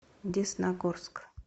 десногорск